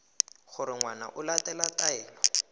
gore ngwana o latela taelo